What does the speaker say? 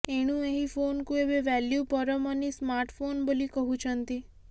ଏଣୁ ଏହି ଫୋନକୁ ଏବେ value for money smart phone ବୋଲି କହୁଛନ୍ତି